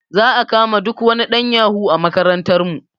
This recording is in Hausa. Za a kama duk wani ɗan yahu a makarantar mu